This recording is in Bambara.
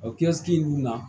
O kiasikili ninnu na